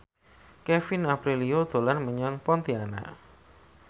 Kevin Aprilio dolan menyang Pontianak